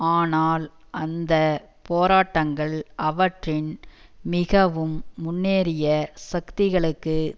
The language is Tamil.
ஆனால் இந்த போராட்டங்கள் அவற்றின் மிகவும் முன்னேறிய சக்திகளுக்கு